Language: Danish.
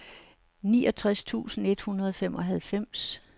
niogtres tusind et hundrede og femoghalvfems